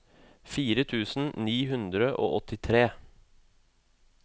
fire tusen ni hundre og åttitre